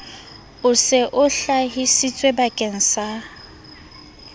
o se o hlahisitswebakeng sa